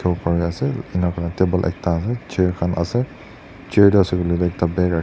enika kurina table ekta ase chair khan ase chair tae ase koilaetu ekta bag .